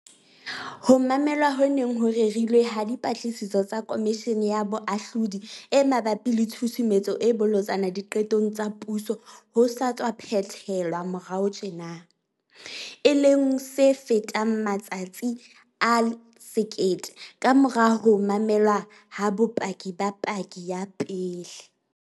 Ho mamelwa ho neng ho rerilwe ha Dipatlisiso tsa Komishene ya Boahlodi e mabapi le Tshusumetso e Bolotsana Diqetong tsa Puso ho sa tswa phethe-lwa moraorao tjena, e leng se fetang matsatsi a 1 000 kamora ho mamelwa ha bopaki ba paki ya pele.